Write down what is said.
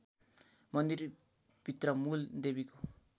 मन्दिरभित्र मूल देवीको